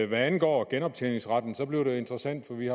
hvad angår genoptjeningsretten bliver det jo interessant for vi